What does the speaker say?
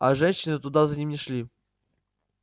а женщины туда за ним не шли